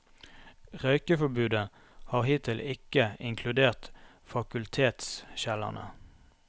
Røykeforbudet har hittil ikke inkludert fakultetskjellerne.